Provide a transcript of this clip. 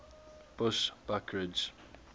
bushbuckridge